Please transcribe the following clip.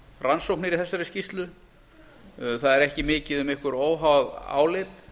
rannsóknir í þessari skýrslu það er ekki mikið um einhver óháð álit